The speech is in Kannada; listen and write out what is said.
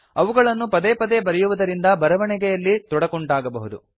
ಅವುಗಳನ್ನು ಪದೆ ಪದೆ ಬರೆಯುವುದರಿಂದ ಬರವಣಿಗೆಯಲ್ಲಿ ತೊಡಕುಂಟಾಗಬಹುದು